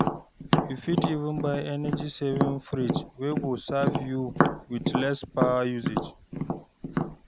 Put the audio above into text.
yu fit even buy energy saving fridge wey go serve you with less power usage